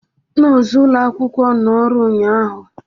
Nọọsụ ụlọ akwụkwọ nọ ọrụ ụnyaahụ